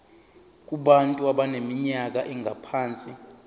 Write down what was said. kubantu abaneminyaka engaphansi